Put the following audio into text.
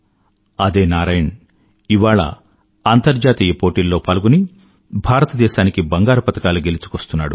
అదే నారాయణ్ ఇవాళ అంతర్జాతీయ పోటీల్లో పాల్గొని భారతదేశానికి బంగారు పతకాలు గెలుచుకొస్తున్నాడు